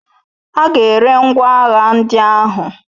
Aga eri ngwa agha ndị ahụ